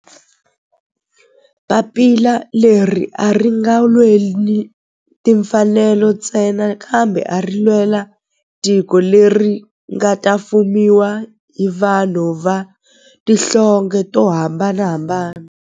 Papila leri a ri nga lweli timfanelo ntsena kambe ari lwela tiko leri nga ta fumiwa hi vanhu va tihlonge to hambanahambana.